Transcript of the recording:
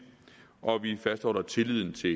og vi fastholder tilliden til